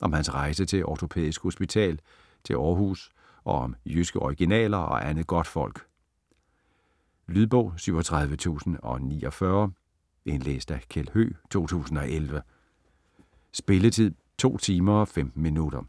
Om hans rejse til Ortopædisk Hospital til Århus og om jyske originaler og andet godtfolk. Lydbog 37049 Indlæst af Kjeld Høegh, 2011. Spilletid: 2 timer, 15 minutter.